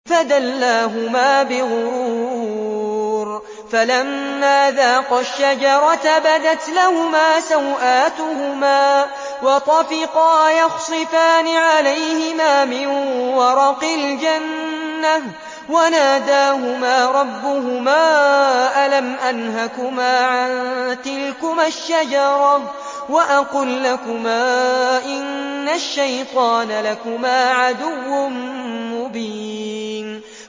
فَدَلَّاهُمَا بِغُرُورٍ ۚ فَلَمَّا ذَاقَا الشَّجَرَةَ بَدَتْ لَهُمَا سَوْآتُهُمَا وَطَفِقَا يَخْصِفَانِ عَلَيْهِمَا مِن وَرَقِ الْجَنَّةِ ۖ وَنَادَاهُمَا رَبُّهُمَا أَلَمْ أَنْهَكُمَا عَن تِلْكُمَا الشَّجَرَةِ وَأَقُل لَّكُمَا إِنَّ الشَّيْطَانَ لَكُمَا عَدُوٌّ مُّبِينٌ